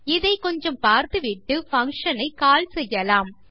இதை கொஞ்சம் பார்த்துவிட்டு பங்ஷன் ஐ கால் செய்யலாம்